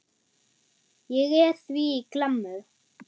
Ég er því í klemmu.